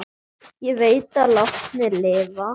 Ég veit að látnir lifa.